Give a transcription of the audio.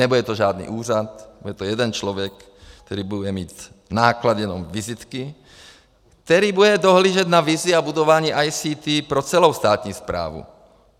Nebude to žádný úřad, bude to jeden člověk, který bude mít náklady jenom na vizitky, který bude dohlížet na vizi a budování ICT pro celou státní správu.